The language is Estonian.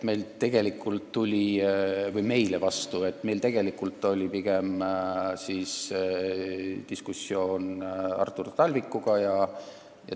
Tegelikult oli meil pigem diskussioon Artur Talvikuga.